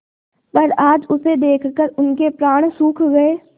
पर आज उसे देखकर उनके प्राण सूख गये